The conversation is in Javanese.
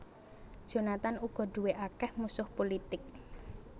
Jonathan uga duwé akèh musuh pulitik